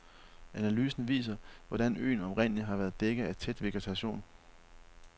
Analyser viser, hvordan øen oprindeligt har været dækket af tæt vegetation.